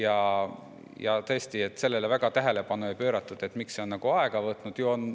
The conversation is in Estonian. Aga tõesti, sellele väga tähelepanu ei pööratud, miks see on nii palju aega võtnud.